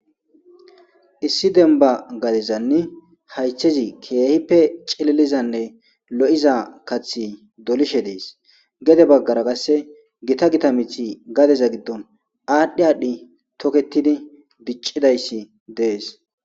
issi denba gadezanni haytchezi keehippe cililizanne lo7iza kathi dolishe dees gede baggara kasse gita gita mithi gadeza giddon aadhdhi aadhdhi toketidi biccidayssi dees